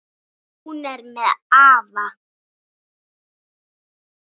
Hún er með afa.